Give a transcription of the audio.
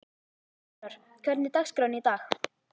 Þórar, hvernig er dagskráin í dag?